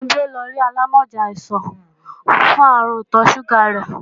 Funbí ó lọ rí alámọ̀já àìsàn fún àrùn ìtọ̀ sùgà rẹ́